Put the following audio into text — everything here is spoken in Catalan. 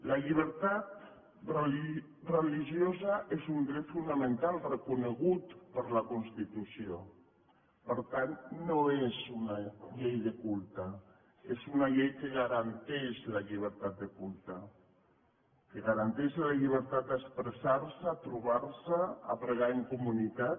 la llibertat religiosa és un dret fonamental reconegut per la constitució per tant no és una llei de culte és una llei que garanteix la llibertat de culte que garanteix la llibertat d’expressar se trobar se pregar en comunitat